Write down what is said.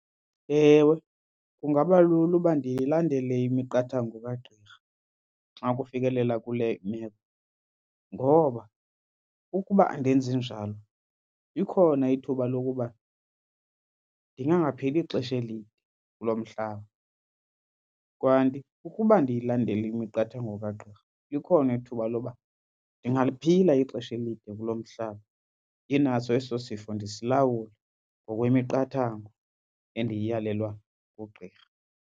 Ewe, kungaba lula uba ndiyilandele imiqathango kagqirha xa kufikelela kule imeko ngoba ukuba andenzi njalo likhona ithuba lokuba ndingangaphili ixesha elide kulo mhlaba. Kanti ukuba ndiyilandele imiqathango kagqirha likhona ithuba loba ndingaliphila ixesha elide kulo mhlaba ndinaso eso sifo ndisilawula ngokwemiqathango endiyiyalelwa ngugqirha.